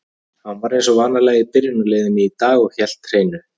Hann var eins og venjulega í byrjunarliðinu í dag og hélt hreinu.